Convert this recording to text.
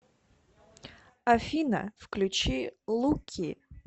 афина включи луки